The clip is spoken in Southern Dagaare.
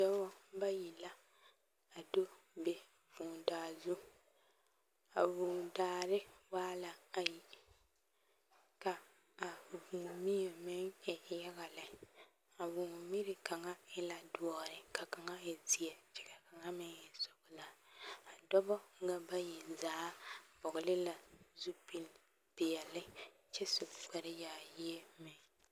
Lɔɛ la biŋ lɔ peɛle ane lɔ zeere ka aloopɛlee a are a ba puoriŋ a araa lɔɛ puoriŋ kyɛ kyɛre ka teere meŋ are kaa sazu waa nyɛ saa naŋ koro kyɛ kaa teere na meŋ naŋ are sɔɔsɔɔ a zaa kpɛlɛŋ nyɛ a zie naŋ e teŋsugɔ nyɛ.